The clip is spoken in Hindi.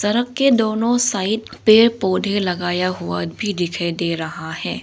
दोनों साइड पेड़ पौधे लगाया हुआ भी दिखाई दे रहा है।